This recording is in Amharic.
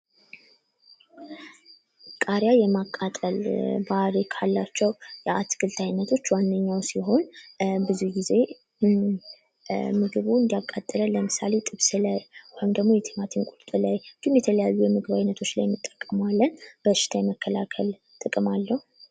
ቃሪያ የማቃጠል ባህሪ ካላቸው የአትክልት አይነቶች ዋነኛው ሲሆን ብዙ ጊዜ ምግቡ እንዲያቃጥለን ለምሳሌ ጥብስ ላይ ወይም ደግሞ የቲማቲም ቁርጥ ላይ እንዲሁም የተለያዩ የምግብ አይነቶች ላይ እንጠቀመዋለን፤ በሽታ የመከላከል ጥቅም አለው።